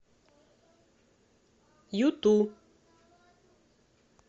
юту